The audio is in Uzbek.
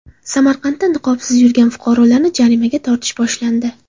Samarqandda niqobsiz yurgan fuqarolarni jarimaga tortish boshlandi.